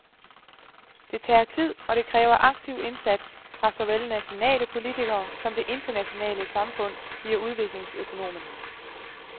Det tager tid og det kræver aktiv indsats fra såvel nationale politikere som det internationale samfund, siger udviklingsøkonomen.